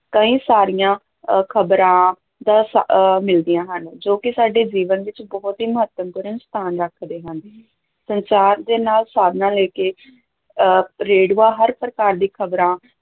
ਕਈ ਸਾਰੀਆਂ ਅਹ ਖ਼ਬਰਾਂ ਮਿਲਦੀਆਂ ਹਨ, ਜੋ ਕਿ ਸਾਡੇ ਜੀਵਨ ਵਿੱਚ ਬਹੁਤ ਹੀ ਮਹੱਤਪੂਰਨ ਸਥਾਨ ਰੱਖਦੇ ਹਨ, ਸੰਚਾਰ ਦੇ ਨਾਲ ਸਾਧਨਾਂ ਲੈ ਕੇ ਅਹ ਰੇਡੀਓ ਹਰ ਪ੍ਰਕਾਰ ਦੀ ਖ਼ਬਰਾਂ